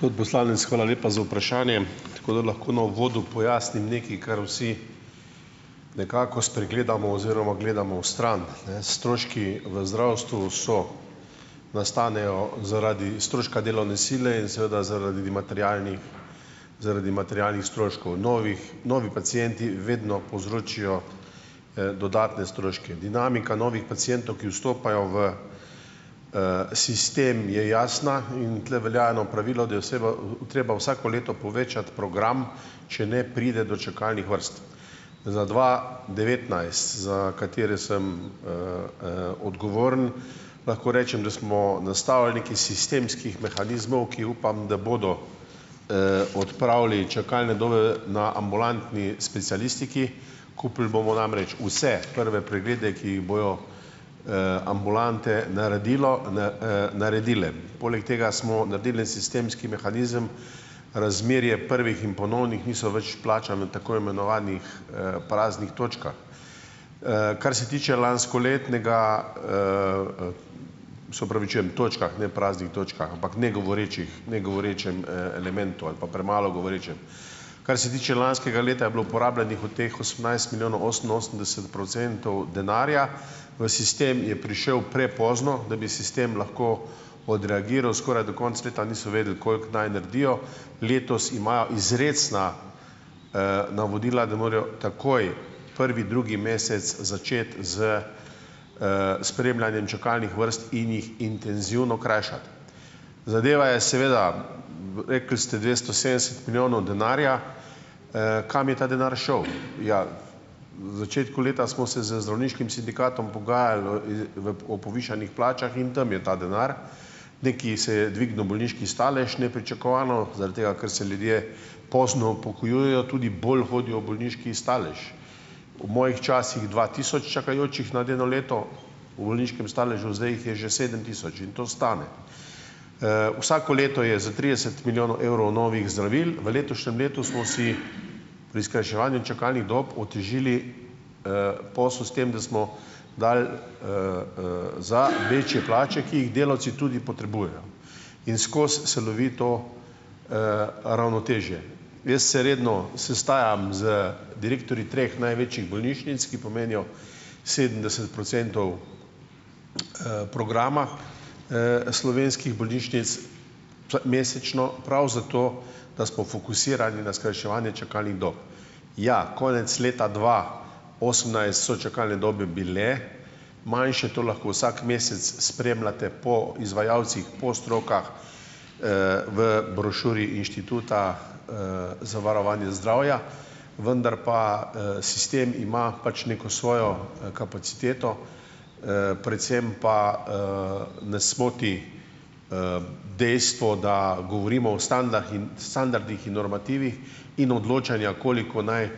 Spod poslanec, hvala lepa za vprašanje. Tako da lahko na uvodu pojasnim nekaj, kar vsi nekako spregledamo oziroma gledamo vstran, ne. Stroški v zdravstvu so nastanejo zaradi stroška delovne sile in seveda zaradi materialnih zaradi materialnih stroškov. Novih novi pacienti vedno povzročijo, dodatne stroške. Dinamika novih pacientov, ki vstopajo v, sistem, je jasna. In tule velja eno pravilo, da je oseba, treba vsako leto povečati program, če ne, pride do čakalnih vrst. Za dva devetnajst, za katere sem, odgovoren, lahko rečem, da smo nastavili nekaj sistemskih mehanizmov, ki upam, da bodo, odpravili čakalne dobe na ambulantni specialistiki. Kupili bomo namreč vse prve preglede, ki jih bojo, ambulante naredilo naredile. Poleg tega smo naredili en sistemski mehanizem, razmerje prvih in ponovnih niso več plačani od tako imenovanih, praznih točk. Kar se tiče lanskoletnega ... Se opravičujem. Točkah, ne praznih točkah, ampak negovorečih, negovorečem, elementu ali pa premalo govorečem. Kar se tiče lanskega leta, je bilo porabljenih od teh osemnajst milijonov oseminosemdeset procentov denarja. V sistem je prišel prepozno, da bi sistem lahko odreagiral. Skoraj do konca leta niso vedeli, koliko naj naredijo. Letos imajo izrecna, navodila, da morajo takoj, prvi-drugi mesec začeti s, spremljanjem čakalnih vrst in jih intenzivno krajšati. Zadeva je seveda, rekli ste dvesto sedemdeset milijonov denarja. Kam je ta denar šel? Ja, v začetku leta smo se z zdravniškim sindikatom pogajali o i v o povišanih plačah in tam je ta denar. Nekaj se je dvignil bolniški stalež nepričakovano. Zaradi tega, ker se ljudje pozno upokojujejo, tudi bolj hodijo v bolniški stalež. V mojih časih dva tisoč čakajočih nad eno leto v bolniškem staležu, zdaj jih je že sedem tisoč. In to stane. Vsako leto je za trideset milijonov evrov novih zdravil. V letošnjem letu smo si pri skrajševanju čakalnih dob otežili, posel s tem, da smo dali, za večje plače, ki jih delavci tudi potrebujejo, in skozi celovito, ravnotežje. Jaz se redno sestajam z direktorji treh največjih bolnišnic, ki pomenijo sedemdeset procentov, programa, slovenskih bolnišnic mesečno, prav zato, da smo fokusirani na skrajševanje čakalnih dob. Ja, konec leta dva osemnajst so čakalne dobe bile manjše. To lahko vsak mesec spremljate po izvajalcih, po strokah, v brošuri Inštituta, za varovanje zdravja. Vendar pa, sistem ima pač neko svojo kapaciteto, predvsem pa, nas moti, dejstvo, da govorimo o standarhin standardih in normativih in odločanja, koliko naj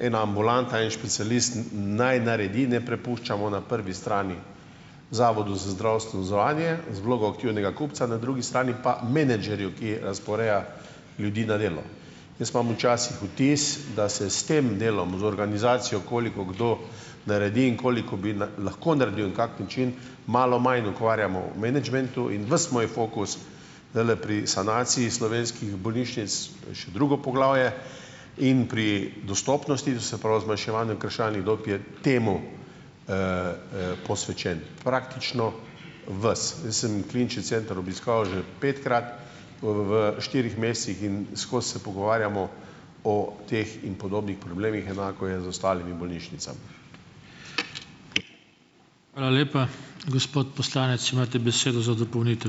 ena ambulanta, en specialist naj naredi, ne prepuščamo na prvi strani Zavodu za zdravstveno zavarovanje z vlogo aktivnega kupca. Na drugi strani pa menedžerju, ki razporeja ljudi na delo. Jaz imam včasih vtis, da se s tem delom, z organizacijo, koliko kdo naredi in koliko bi lahko naredil in kak način, malo manj ukvarjamo v menedžmentu. In ves moj fokus zdajle pri sanaciji slovenskih bolnišnic je še drugo poglavje, in pri dostopnosti, to se pravi zmanjševanju kršalnih dob je temu, posvečen. Praktično ves. Jaz sem Klinični center obiskal že petkrat, v štirih mesecih in skozi se pogovarjamo o teh in podobnih problemih. Enako je z ostalimi bolnišnicami.